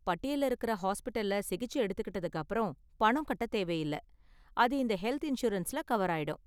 பட்டியல்ல இருக்கற ஹாஸ்பிடல்ல சிகிச்சை எடுத்துகிட்டதுக்கு அப்பறம் பணம் கட்ட தேவை இல்ல, அது இந்த ஹெல்த் இன்சூரன்ஸ்ல கவர் ஆயிடும்.